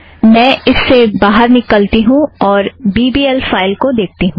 मैं इससे बाहर निकलती हूँ और बी बी एल फ़ाइलस को देखती हूँ